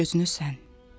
bir gözünü sən.